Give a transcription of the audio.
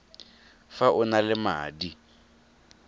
fa o na le madi